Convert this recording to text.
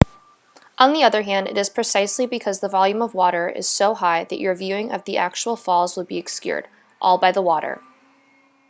on the other hand it is precisely because the volume of water is so high that your viewing of the actual falls will be obscured-by all the water